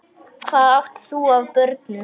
Hvað átt þú af börnum?